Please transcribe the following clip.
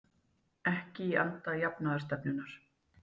Ekki í anda jafnaðarstefnunnar